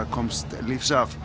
komst lífs af